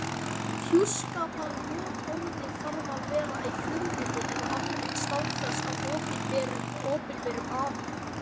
Hjúskaparvottorðið þarf að vera í frumriti eða afrit staðfest af opinberum aðila.